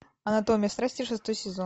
анатомия страсти шестой сезон